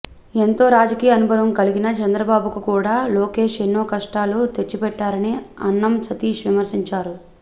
ఎంతో రాజకీయ అనుభవం కలిగిన చంద్రబాబుకు కూడా లోకేశ్ ఎన్నో కష్టాలు తెచ్చిపెట్టారని అన్నం సతీష్ విమర్శంచారు